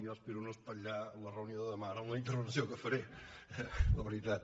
jo espero no espatllar la reunió de demà ara amb la intervenció que faré eh la veritat